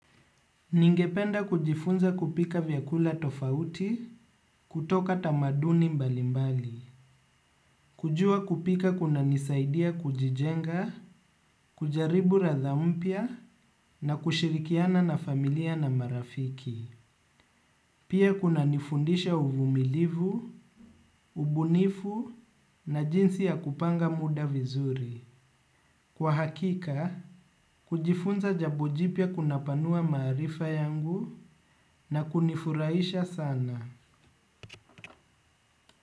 Ningependa kujifunza kupika vyakula tofauti kutoka tamaduni mbalimbali. Kujua kupika kunanisaidia kujijenga, kujaribu radha mpya na kushirikiana na familia na marafiki. Pia kunanifundisha uvumilivu, ubunifu na jinsi ya kupanga muda vizuri. Kwa hakika, kujifunza jambo jipya kunapanua maarifa yangu na kunifurahisha sana.